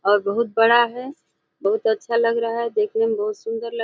और बहुत बड़ा है। बहुत अच्छा लग रहा है देखने में बहुत सुंदर लग --